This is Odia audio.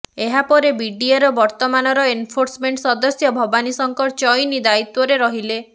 ଏହାପରେ ବିଡିଏର ବର୍ତ୍ତମାନର ଏନଫୋର୍ସମେଣ୍ଟ ସଦସ୍ୟ ଭବାନୀ ଶଙ୍କର ଚଇନି ଦାୟିତ୍ବରେ ରହିଲେ